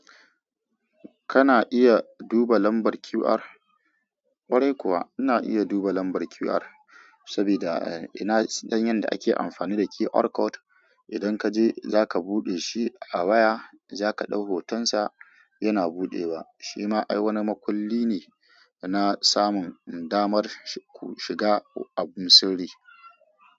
Kana iya duba lambar QR. Kwarai kuwa ina iya duba lambar QR saboda ina don yadda ake amfani da QR code. Idan kaje zaka buɗe shi a waya, zaka ɗau hotonsa yana buɗewa. Shi ma ai wani makulli ne na samun damar shiga abun sirri.